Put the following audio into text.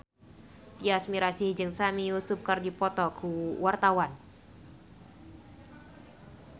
Tyas Mirasih jeung Sami Yusuf keur dipoto ku wartawan